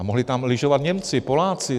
A mohli tam lyžovat Němci, Poláci.